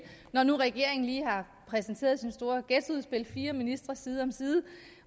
når nu regeringen lige har præsenteret sit store ghettoudspil fire ministre side om side